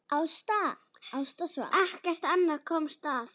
Ekkert annað komst að.